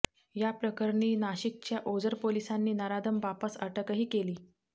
याप्रकरणी नाशिकच्या ओझर पोलिसांनी नराधम बापास अटकही केली